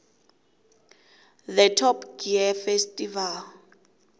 the top gear festival